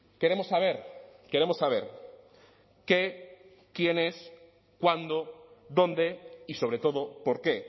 queremos saber queremos saber qué quiénes cuándo dónde y sobre todo por qué